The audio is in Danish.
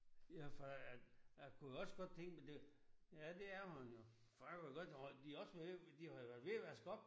Jeg for jeg jeg kunne også godt tænke mig det ja det er hun jo for jeg kunne jo godt tro de også på det de har jo været ved at vaske op